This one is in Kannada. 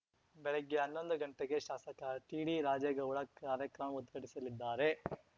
ಬೆಳಗ್ಗೆ ಹನ್ನೊಂದು ಗಂಟೆಗೆ ಶಾಸಕ ಟಿಡಿರಾಜೇಗೌಡ ಕಾರ್ಯಕ್ರಮ ಉದ್ಘಾಟಿಸಲಿದ್ದಾರೆ